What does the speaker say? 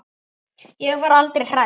Ég var aldrei hrædd.